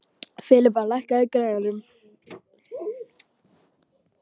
Filippa, lækkaðu í græjunum.